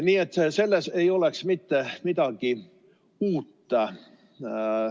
Nii et selles ei oleks mitte midagi uut.